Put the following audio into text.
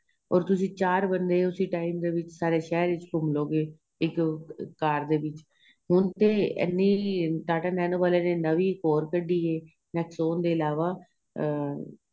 ਔਰ ਤੁਸੀਂ ਚਾਰ ਬੰਦੇ ਉਸੀ time ਵਿੱਚ ਸਾਰੇ ਸ਼ਹਿਰ ਵਿੱਚ ਘੁੱਮ ਲਹੋਗੇ ਇੱਕ ਕਾਰ ਦੇ ਵਿੱਚ ਹੁਣ ਤੇ ਐਨੀ ਟਾਟਾ ਨੈਨੋ ਵਾਲਿਆਂ ਨੇ ਨਵੀਂ ਇੱਕ ਹੋਰ ਕੱਢੀ ਏ nexon ਦੇ ਇਲਾਵਾਂ ਅਹ